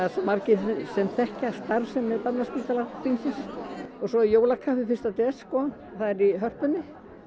margir sem þekkja starfsemi Barnaspítala Hringsins og svo er jólakaffi fyrsta des sko það er í Hörpunni